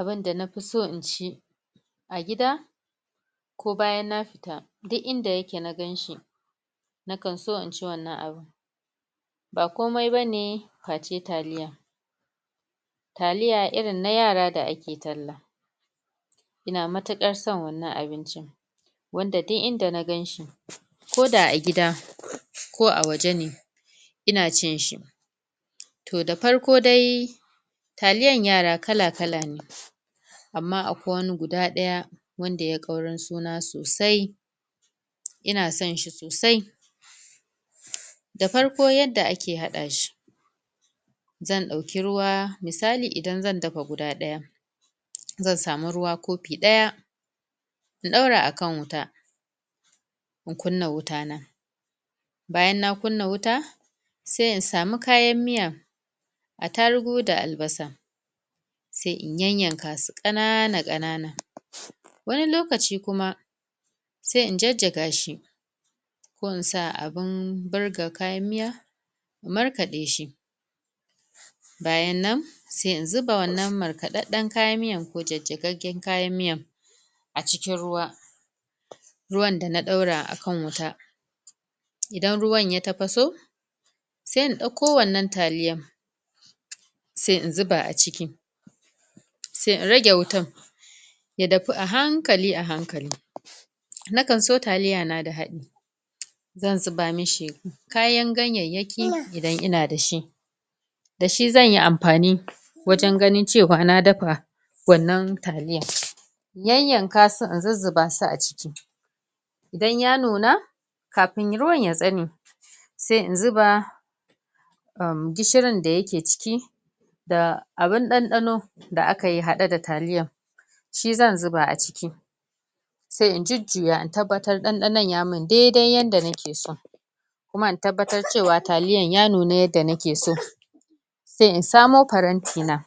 Abunda na fi so inci a gida ko bayan na fita, duk inda ya ke na gan shi na kan so in ci wannan abun ba komai ba ne, taliya taliya irin na yara da ake talla ina matukar san wannan abincin wanda duk inda na ganshi ko da a gida, ko a waje ne ina cin shi toh da farko dai, taliyan yara kala-kala ne amma akwai wani guda daya wanda ya kauran suna sosai ina san shi sosai da farko yanda a ke hada shi zan dauki ruwa, misali idan zan dafa guda daya zan samu ruwa kopi daya in daura a kan wuta in kuna wuta na bayan na kunna wuta sai in samu kayan miya atarugu da albasa sai in yayanka su kanana-kanana wani lokaci kuma sai in jajaga shi ko in sa a abun burga kayan miya, markade shi bayan nan sai in zuba wannan markadaden kayan miyan ko jajagaggen kayan miyan acikin ruwa ruwan da na daura a kan wuta dan ruwan ya tapaso sai in dauko wannan talliyan sai in zuba aciki sai in rage wutan ya dafu ahankali ahankali na kan so taliya na da haddi zan zuba mishi, kayan ganyanyaki idan ina da shi. Da shi zan yi amfani, wajen ganin cewa na dafa wanan talia. Yanyanka su in zuzuba su aciki idan ya nuna, kafun ruwar ya same sai in zuba ermm gishirin da yake ciki da abun ɗanɗano, da akayi haɗe da taliyan shi zan zuba aciki sai in jujuya, in tabbatar ɗanɗanon ya mun daidai yanda na ke so kuma in tabbatar cewa taliyan ya nuna yanda na ke so. sai in samo paranti na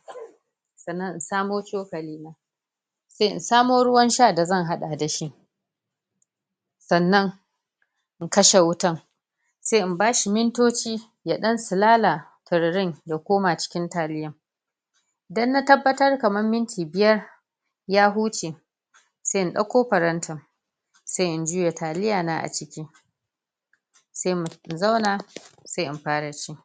tsannan in samo choƙoli sai in samo ruwan sha da zan hada da shi tsannan in kashe wutan sai in bashi mintocci yan dan tsilala tararin, ya koma cikin taliyan idan na tabbatar kaman minti biyar ya hucce, sai in dauko parantin sai in juya taliya na a ciki sai mu, in zauna, sai in fara ci.